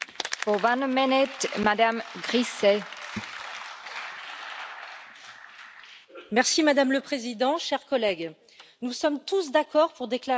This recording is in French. Madame la Présidente, chers collègues, nous sommes tous d'accord pour déclarer l'état d'urgence écologique, nous le sommes moins quand il s'agit de mesures à prendre et de leur efficacité.